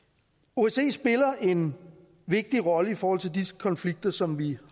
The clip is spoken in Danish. osce spiller en vigtig rolle i forhold til disse konflikter som vi